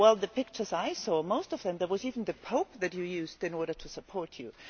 Well, the pictures I saw, most of them, there was even the Pope that you used in order to support you.